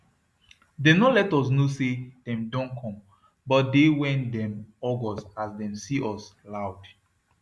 dem no let us knw say dem don come but de wey dem hug us as dem see us loud